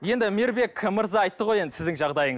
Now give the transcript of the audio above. енді мейірбек мырза айтты ғой енді сіздің жағдайыңыз